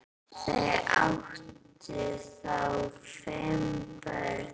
Þau áttu þá fimm börn.